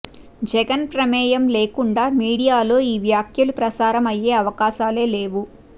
జగన్ ప్రమేయం లేకుండా మీడియాలో ఈ వ్యాఖ్యలు ప్రసారం అయ్యే అవకాశాలే లేవు